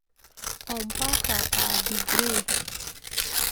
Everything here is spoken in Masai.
Ompaka aa degree.